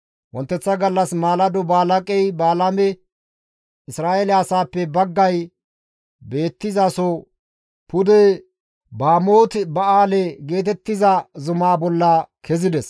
Wonteththa gallas maalado Balaaqey Balaame Isra7eele asaappe baggay beettizaso pude Bamooti Ba7aale geetettiza zumaa bolla kessides.